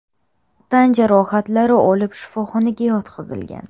tan jarohatlari olib, shifoxonaga yotqizilgan.